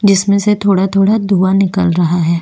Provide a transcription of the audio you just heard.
जिसमें से थोड़ा-थोड़ा धुआँ निकल रहा है।